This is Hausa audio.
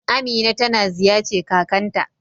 Amina ta na ziyace kakan ta.